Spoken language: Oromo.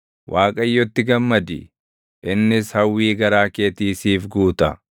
Waaqayyotti gammadi; innis hawwii garaa keetii siif guuta.